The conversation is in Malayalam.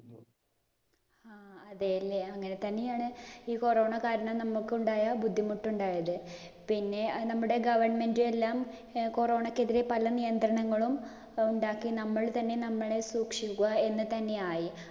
അതേ ഇല്ലേ അങ്ങനെ തന്നെയാണ് ഈ corona കാരണം നമ്മുക്ക് ഉണ്ടായ ബുദ്ധിമുട്ടുണ്ടായത്. പിന്നെ നമ്മുടെ government എല്ലാം corona ക്കെതിരെ പല നിയന്ത്രണങ്ങളും ഉണ്ടാക്കി നമ്മൾ തന്നെ നമ്മളെ സൂക്ഷിക്കുക എന്ന് തന്നെ ആയി.